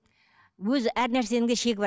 өзі әр нәрсенің де шегі бар